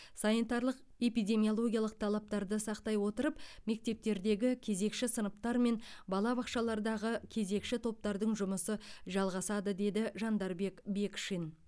санитарлық эпидемиологиялық талаптарды сақтай отырып мектептердегі кезекші сыныптар мен балабақшалардағы кезекші топтардың жұмысы жалғасады деді жандарбек бекшин